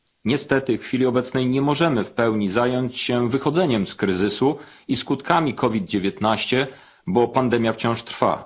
Niestety w chwili obecnej nie możemy w pełni zająć się wychodzeniem z kryzysu i skutkami COVID 19, bo pandemia wciąż trwa.